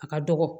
A ka dɔgɔ